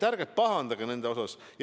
Ärge pahandage selle pärast!